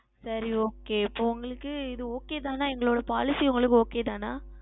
சரி Okay இப்பொழுது உங்களுக்கு இது Okay தானே எங்களுடைய Policy உங்களுக்கு Okay தானே